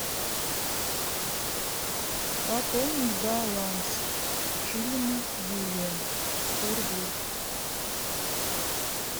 пополнить баланс шилина юлия сто рублей